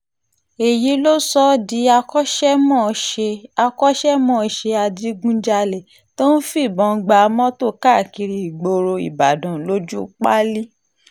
èyí ló sọ ọ́ di akọ́ṣẹ́mọṣẹ́ akọ́ṣẹ́mọṣẹ́ adigunjalè tó ń fìbọn gba mọ́tò káàkiri ìgboro ìbàdàn lójúu páálí